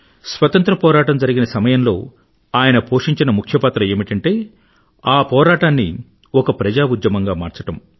స్వతంత్ర పోరాటం జరిగిన సమయంలో ఆయన వహించిన ముఖ్య పాత్ర ఏమిటంటే ఆ పోరాటాన్ని ఒక ప్రజాఉద్యమంగా మార్చడం